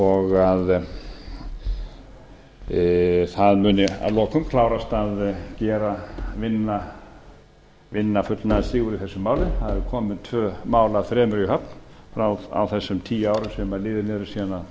og að það muni að lokum klárast að vinna fullnaðarsigur í þessu máli það eru komin tvö mál af þremur í höfn á þessum tíu árum sem liðin eru